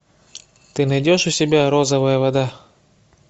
ты найдешь у себя розовая вода